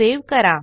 save करा